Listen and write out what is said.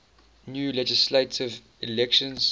new legislative elections